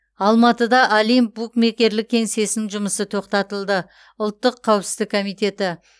алматыда олимп букмекерлік кеңсесінің жұмысы тоқтатылды ұлттық қауіпсіздік комитеті